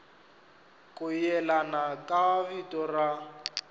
ku yelana ka vito ra